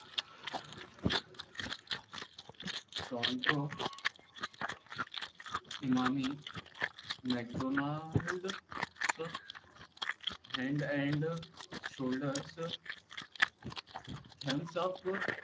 Strangdrow , imami, mcdonalds, head and shoulders, thumbs up